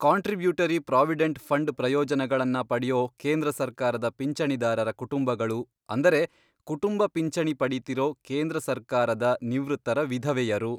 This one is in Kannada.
ಕಾಂಟ್ರಿಬ್ಯೂಟರಿ ಪ್ರಾವಿಡೆಂಟ್ ಫಂಡ್ ಪ್ರಯೋಜನಗಳನ್ನ ಪಡ್ಯೋ ಕೇಂದ್ರ ಸರ್ಕಾರದ ಪಿಂಚಣಿದಾರರ ಕುಟುಂಬಗಳು ಅಂದರೆ ಕುಟುಂಬ ಪಿಂಚಣಿ ಪಡೀತಿರೋ ಕೇಂದ್ರ ಸರ್ಕಾರದ ನಿವೃತ್ತರ ವಿಧವೆಯರು.